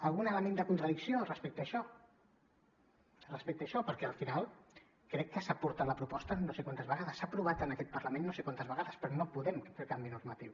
algun element de contradicció respecte a això respecte a això perquè al final crec que s’ha portat la proposta no sé quantes vegades s’ha aprovat en aquest parlament no sé quantes vegades però no podem fer el canvi normatiu